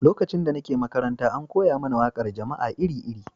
Lokacin da nake makaranta, an koya mana waƙar jama'a iri-iri.